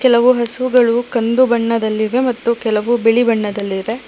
ಕೆಲವು ಹಸುಗಳು ಕಂದು ಬಣ್ಣದಲ್ಲಿವೆ ಮತ್ತು ಕೆಲವು ಬಿಳಿ ಬಣ್ಣದಲ್ಲಿವೆ.